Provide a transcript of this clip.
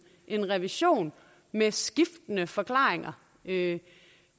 en revision med skiftende forklaringer det er